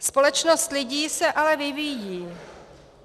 Společnost lidí se ale vyvíjí.